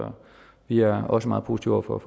vi er også meget positive over